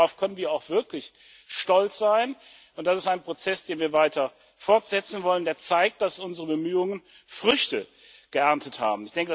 Ich denke, darauf können wir auch wirklich stolz sein, und das ist ein Prozess, den wir weiter fortsetzen wollen, der zeigt, dass unsere Bemühungen Früchte getragen haben.